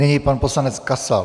Nyní pan poslanec Kasal.